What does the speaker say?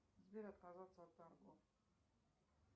сбер отказаться от торгов